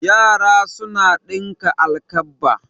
Yara suna ɗinka alkabba.